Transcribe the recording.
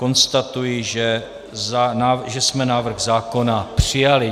Konstatuji, že jsme návrh zákona přijali.